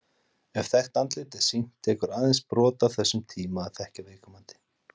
Ef þekkt andlit er sýnt, tekur aðeins brot af þessum tíma að þekkja viðkomandi.